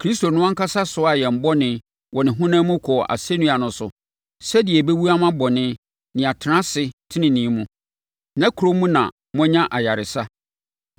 “Kristo no ankasa soaa yɛn bɔne” wɔ ne honam mu kɔɔ asɛnnua no so sɛdeɛ yɛbɛwu ama bɔne na yɛatena ase tenenee mu. “Nʼakuro mu na moanya ayaresa.